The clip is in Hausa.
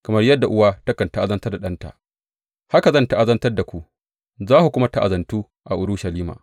Kamar yadda uwa takan ta’azantar da ɗanta haka zan ta’azantar da ku; za ku kuma ta’azantu a Urushalima.